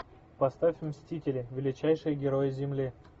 поставь мстители величайшие герои земли